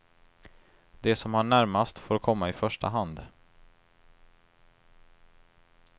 De som har närmast får komma i första hand.